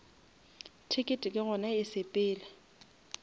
ticket ke gona e sepela